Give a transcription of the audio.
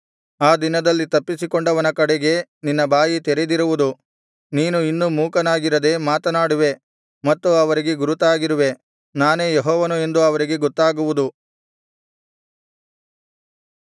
ಆ ದಿನದಲ್ಲಿ ತಪ್ಪಿಸಿಕೊಂಡವನ ಕಡೆಗೆ ನಿನ್ನ ಬಾಯಿ ತೆರೆದಿರುವುದು ನೀನು ಇನ್ನು ಮೂಕನಾಗಿರದೆ ಮಾತನಾಡುವೆ ಮತ್ತು ಅವರಿಗೆ ಗುರುತಾಗಿರುವೆ ನಾನೇ ಯೆಹೋವನು ಎಂದು ಅವರಿಗೆ ಗೊತ್ತಾಗುವುದು